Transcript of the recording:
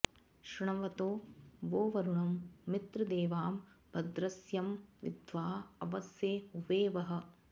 शृ॒ण्व॒तो वो॒ वरु॑ण॒ मित्र॒ देवा॑ भ॒द्रस्य॑ वि॒द्वाँ अव॑से हुवे वः